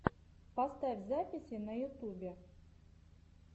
поставь записи на ютубе